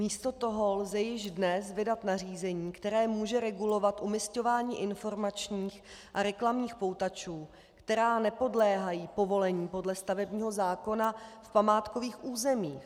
Místo toho lze již dnes vydat nařízení, které může regulovat umisťování informačních a reklamních poutačů, které nepodléhají povolení podle stavebního zákona v památkových územích.